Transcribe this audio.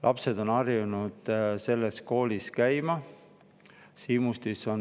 Lapsed on harjunud selles koolis käima.